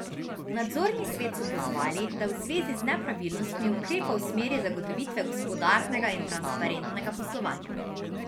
Nadzorni svet so pozvali, da v zvezi z nepravilnostmi ukrepa v smeri zagotovitve gospodarnega in transparentnega poslovanja.